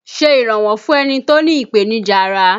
Ṣé iranwọ fún ẹni tó ní ìpènìjà ará!